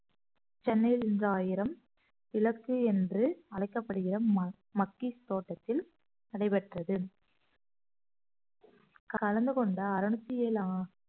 சென்னையில் இருந்து ஆயிரம் இலக்கு என்று அழைக்கப்படுகிற ம~ மக்கீஸ் தோட்டத்தில் நடைபெற்றது கலந்து கொண்ட அறுநூத்தி ஏழு அ~